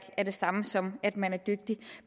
er det samme som at man ikke er dygtig